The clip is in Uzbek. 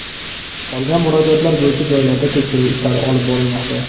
Qolgan murojaatlar bo‘yicha joylarda tekshiruv ishlari olib borilmoqda.